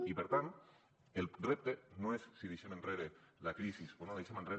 i per tant el repte no és si deixem enrere la crisi o no la deixem enrere